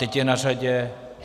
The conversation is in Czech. Teď je na řadě...